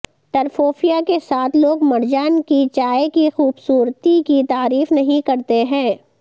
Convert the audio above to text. ٹرففوفیا کے ساتھ لوگ مرجان کی چائے کی خوبصورتی کی تعریف نہیں کرتی ہیں